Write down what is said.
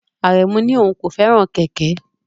Aremu ní òun kò fẹ́ràn kẹ̀kẹ́.